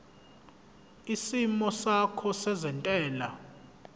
isimo sakho sezentela